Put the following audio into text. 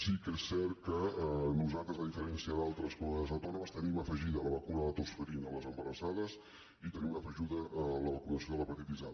sí que és cert que nosaltres a diferència d’altres comunitats autònomes tenim afegida la vacuna de la tos ferina a les embarassades i tenim afegida la vacunació de l’hepatitis a